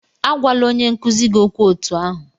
Agwala onye nkuzi gị okwu otú ahụ!